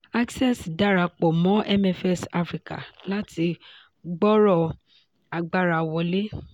access darapọ̀ mọ́ mfs africa láti gbòòrò agbára wọ̀lé.